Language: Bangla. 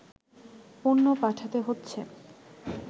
পণ্য পাঠাতে হচ্ছে